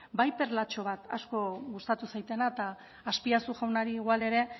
bai perlatxo bat asko gustatu zaidana eta azpiazu jaunari igual ere